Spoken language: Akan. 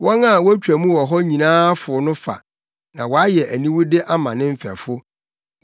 Wɔn a wotwa mu wɔ hɔ nyinaa fow no fa; na wayɛ aniwude ama ne mfɛfo.